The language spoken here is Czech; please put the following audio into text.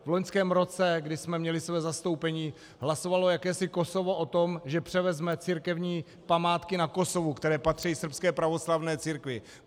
V loňském roce, kdy jsme měli svoje zastoupení, hlasovalo jakési Kosovo o tom, že převezme církevní památky na Kosovu, které patří srbské pravoslavné církvi.